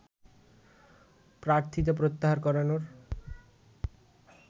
প্রার্থিতা প্রত্যাহার করানোর